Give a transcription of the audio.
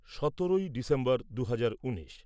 সতেরোই ডিসেম্বর দুহাজার উনিশ